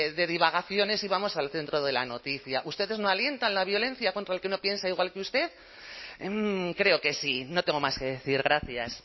de divagaciones y vamos al centro de la noticia ustedes no alientan la violencia contra el que no piensa igual que usted creo que sí no tengo más que decir gracias